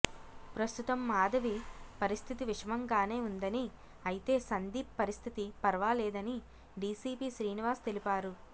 ప్రస్తుతం మాధవి పరిస్థితి విషమంగానే ఉందని అయితే సందీప్ పరిస్థితి పర్వాలేదని డీసీపీ శ్రీనివాస్ తెలిపారు